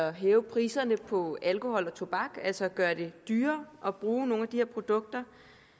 at hæve priserne på alkohol og tobak altså at gøre det dyrere at bruge nogle af de her produkter